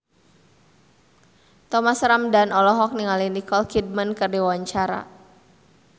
Thomas Ramdhan olohok ningali Nicole Kidman keur diwawancara